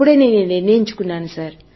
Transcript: అపుడే నేను నిర్ణయించుకొన్నాను